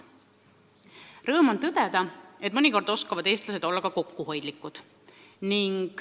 Rõõm on tõdeda, et mõnikord oskavad eestlased olla ka kokkuhoidlikud.